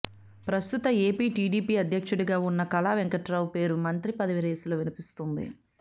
ప్రస్తుత ఏపీ టీడీపీ అధ్యక్షుడిగా ఉన్న కళా వెంకట్రావు పేరు మంత్రిపదవి రేసులో వినిపిస్తోంది